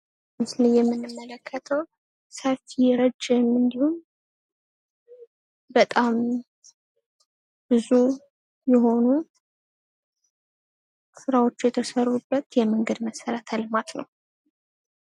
በምስሉ ላይ የምንመለከተው ሰፊ ረጅም እንዲሁም በጣም ብዙ የሆኑ ስራዎች የተሰሩበት የመንገድ መሰረተ ልማት ነው ።